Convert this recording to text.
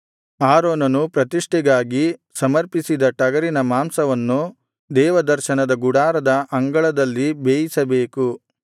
ಆರೋನನು ಪ್ರತಿಷ್ಠೆಗಾಗಿ ಸಮರ್ಪಿಸಿದ ಟಗರಿನ ಮಾಂಸವನ್ನು ದೇವದರ್ಶನದ ಗುಡಾರದ ಅಂಗಳದಲ್ಲಿ ಬೇಯಿಸಬೇಕು